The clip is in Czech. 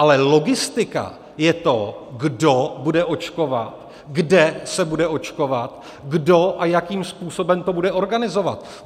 Ale logistika je to, kdo bude očkovat, kde se bude očkovat, kdo a jakým způsobem to bude organizovat.